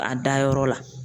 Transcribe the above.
A dayɔrɔ la.